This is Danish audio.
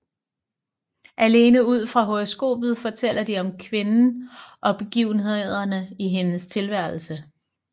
Alene ud fra horoskopet fortæller de om kvinden og begivenhederne i hendes tilværelse